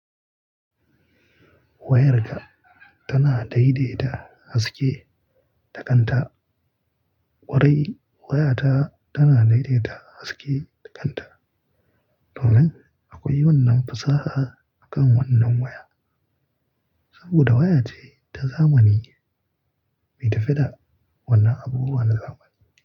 Wayarka tana daidaita haske da kanta. Kwarai wayata tana daidaita haske da kanta. Domin akwai wannan fasaha a kan wannan waya. Saboda waya te ta zamani bai tafi da wannan abubuwan na zamani.